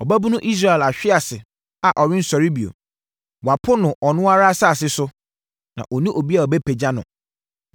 “Ɔbabunu Israel ahwe ase a ɔrensɔre bio, wɔapo no ɔno ara asase so, na ɔnni obi a ɔbɛpagya no.”